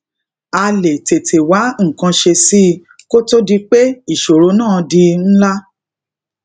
á lè tètè wá nǹkan ṣe sí i kó tó di pé ìṣòro náà di ńlá